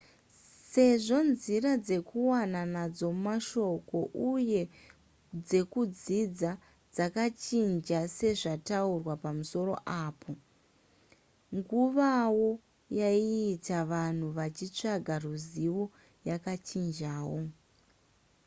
sezvo nzira dzekuwana nadzo mashoko uye dzekudzidza dzakachinja sezvataurwa pamusoro apo nguvawo yaiita vanhu vachitsvaga ruzivo yakachinjawo